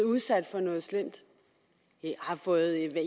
udsat for noget slemt har fået